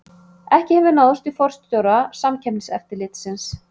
Ekki hefur náðst í forstjóra Samkeppniseftirlitsins